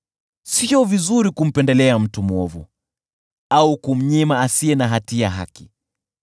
Sio vizuri kumpendelea mtu mwovu, au kumnyima haki asiye na hatia.